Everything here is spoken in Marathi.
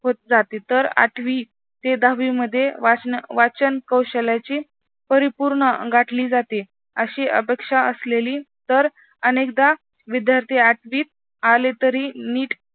होत जाती. तर आठवी ते दहावी मध्ये वाचन कौशल्याची परिपूर्ण गाठली जाते. अशी अपेक्षा असलेली तर अनेकदा विद्यार्थी आठवित आलेतरी नीट